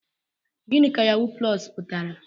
Gịnị ka yahuu plọs pụtara?